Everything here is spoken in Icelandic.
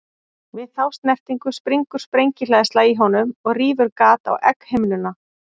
Við þá snertingu springur sprengihleðsla í honum og rýfur gat á egghimnuna.